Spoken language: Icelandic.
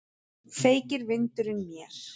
Feykir vindurinn mér.